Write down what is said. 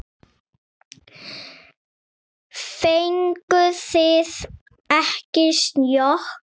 Fenguð þið ekki sjokk?